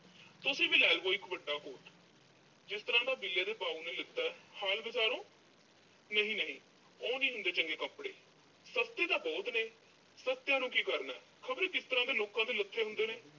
ਤੁਸੀਂ ਵੀ ਲੈ ਲਵੋ ਇੱਕ ਵੱਡਾ coat, ਜਿਸ ਤਰ੍ਹਾਂ ਦਾ ਬਿੱਲੇ ਦੇ ਬਾਊ ਨੇ ਲੈਤਾ। ਬਜ਼ਾਰੋਂ । ਨਹੀਂ ਨਹੀਂ ਓਹ ਨੀਂ ਹੁੰਦੇ ਚੰਗੇ ਕੱਪੜੇ। ਸਸਤੇ ਤਾਂ ਬਹੁਤ ਨੇਂ। ਸਸਤਿਆਂ ਨੂੰ ਕੀ ਕਰਨਾ? ਖੌਰੇ ਕਿਸ ਤਰ੍ਹਾਂ ਦੇ ਲੋਕਾਂ ਦੇ ਲੱਥੇ ਹੁੰਦੇ ਨੇਂ।